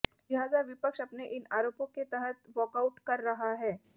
लिहाजा विपक्ष अपने इन आरोपों के तहत वाकाऊट कर रहा है